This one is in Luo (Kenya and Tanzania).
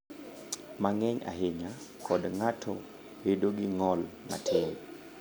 mang’eny ahinya, kod ng’ato bedo gi ng’ol matin."